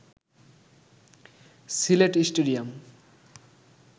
Sylhet stadium